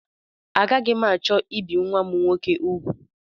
Agaghị m achọ ibi nnwa m nwoke ugwu